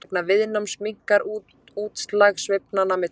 Vegna viðnáms minnkar útslag sveiflnanna með tíma.